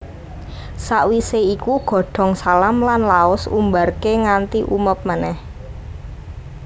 Sakwisé iku godhong salam lan laos Umbarké nganti umeb meneh